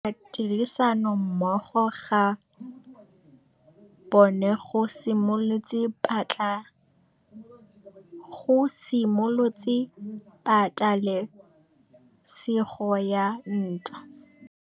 Go tlhoka tirsanommogo ga bone go simolotse patêlêsêgô ya ntwa.